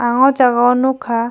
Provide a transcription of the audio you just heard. ang o jaga o nogka.